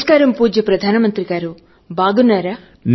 నమస్కారం పూజ్య ప్రధాన మంత్రిగారూ